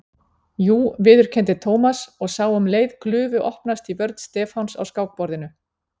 Jú viðurkenndi Thomas og sá um leið glufu opnast í vörn Stefáns á skákborðinu.